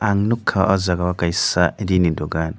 ang nugkha ah jaaga kaisa ree ni dukan.